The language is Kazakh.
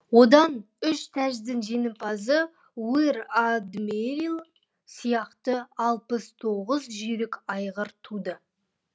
одан үш тәждің жеңімпазы уир адмииил сияқты алпыс тоғыз жүйрік айғыр туды